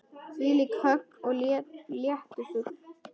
Þvílíkt högg og léttur fugl.